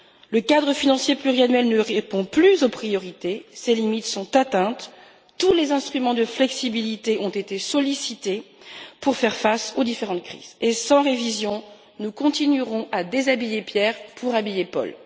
Le cadre financier pluriannuel ne répond plus aux priorités, ses limites sont atteintes, tous les instruments de flexibilité ont été sollicités pour faire face aux différentes crises et, sans révision, nous continuerons à déshabiller Pierre pour habiller Paul.